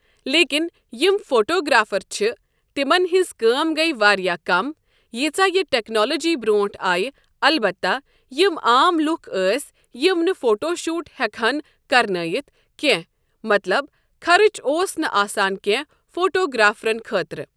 لیکن یم فوٹوگرافر چھِ تِمن ہٕنٛز کٲم گٔیہ واریاہ کم ییٖژا یہِ ٹٮ۪کنالوجی برٛونٛٹھ آیہِ البتہ یِم عام لُکھ ٲسۍ یِم نہٕ فوٹو شوٗٹ ہٮ۪کہن کر نٲیتھ کینٛہہ مطلب خرٕچ اوس نہٕ آسان کٮ۪نٛہہ فوٹوگرافرن خٲطرٕ۔